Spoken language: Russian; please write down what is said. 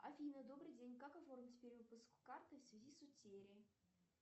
афина добрый день как оформить перевыпуск карты в связи с утерей